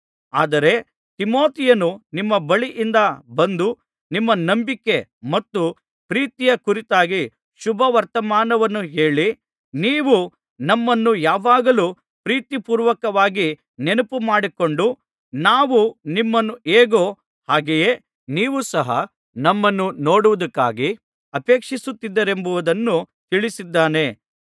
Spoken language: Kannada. ಆದರೆ ತಿಮೊಥೆಯನು ನಿಮ್ಮ ಬಳಿಯಿಂದ ಬಂದು ನಿಮ್ಮ ನಂಬಿಕೆ ಮತ್ತು ಪ್ರೀತಿಯ ಕುರಿತಾಗಿ ಶುಭವರ್ತಮಾನವನ್ನು ಹೇಳಿ ನೀವು ನಮ್ಮನ್ನು ಯಾವಾಗಲೂ ಪ್ರೀತಿಪೂರ್ವಕವಾಗಿ ನೆನಪುಮಾಡಿಕೊಂಡು ನಾವು ನಿಮ್ಮನ್ನು ಹೇಗೋ ಹಾಗೆಯೇ ನೀವೂ ಸಹ ನಮ್ಮನ್ನು ನೋಡುವುದಕ್ಕಾಗಿ ಅಪೇಕ್ಷಿಸುತ್ತಿದ್ದೀರೆಂಬುದನ್ನು ತಿಳಿಸಿದ್ದಾನೆ